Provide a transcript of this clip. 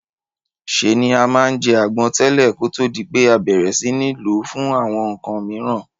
Se ni a ma n je àgbon tẹ̀lẹ́ kótó di pé a bẹ̀rẹ̀ si ni lo fún àwon nkan miran